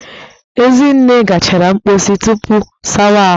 Ezinne gachara mposi tupu sawa ahụ